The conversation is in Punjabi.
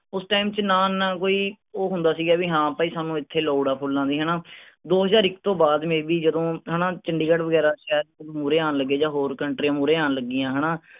ਉਸ ਚ ਨਾ ਤਾਂ ਕੋਈ ਉਹ ਹੁੰਦਾ ਸੀਗਾ ਵੀ ਹਾਂ ਭਾਈ ਸਾਨੂੰ ਇਥੇ ਲੋੜ ਆਏ ਫੁੱਲਾਂ ਦੀ ਹੈਨਾ ਦੋ ਹਜ਼ਾਰ ਇੱਕ ਤੋਂ ਬਾਅਦ ਜਦੋਂ ਉਨ੍ਹਾਂ ਚੰਡੀਗੜ੍ਹ ਵਰਗੇ ਸ਼ਹਿਰ ਮੂਹਰੇ ਆਂ ਲੱਗੇ ਜਾਂ ਹੋਰ ਮੂਹਰੇ ਆਂ ਲੱਗਿਆਂ ਹੈਨਾ